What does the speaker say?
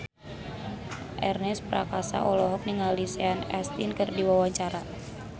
Ernest Prakasa olohok ningali Sean Astin keur diwawancara